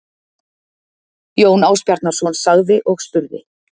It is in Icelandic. Jón Ásbjarnarson sagði og spurði